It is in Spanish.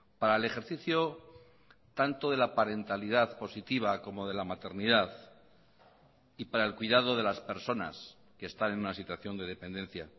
para el ejercicio tanto de la parentalidad positiva como de la maternidad y para el cuidado de las personas que están en una situación de dependencia